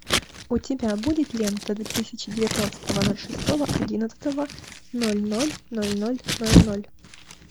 у тебя будет лента две тысячи девятнадцатого ноль шестого одиннадцатого ноль ноль ноль ноль ноль ноль